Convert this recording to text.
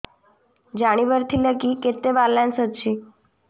ଜାଣିବାର ଥିଲା କି କେତେ ବାଲାନ୍ସ ଅଛି